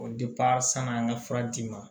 O sann'an ka fura di ma